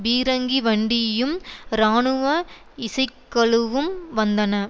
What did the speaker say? பீரங்கி வண்டியும் இராணுவ இசைக்கழுவும் வந்தன